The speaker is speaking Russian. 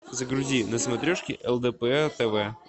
загрузи на смотрешке лдпр тв